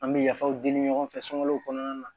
An bɛ yafaw deli ɲɔgɔn fɛ sunkalow kɔnɔna na